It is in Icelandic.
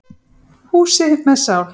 Húsi með sál.